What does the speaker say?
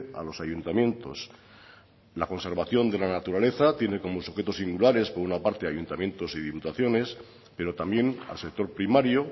a los ayuntamientos la conservación de la naturaleza tiene como sujetos singulares por una parte ayuntamientos y diputaciones pero también al sector primario